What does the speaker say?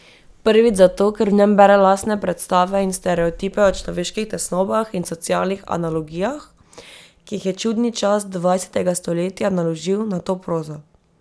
Prvič zato, ker v njem bere lastne predstave in stereotipe o človeških tesnobah in socialnih analogijah, ki jih je čudni čas dvajsetega stoletja naložil na to prozo.